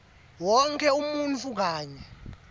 wonkhe umuntfu kanye